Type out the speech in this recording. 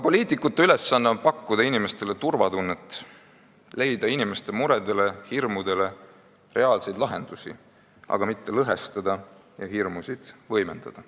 Poliitikute ülesanne on pakkuda inimestele turvatunnet, leida inimeste muredele ja hirmudele reaalseid lahendusi, mitte lõhestada ja hirmusid võimendada.